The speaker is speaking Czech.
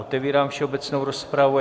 Otevírám všeobecnou rozpravu.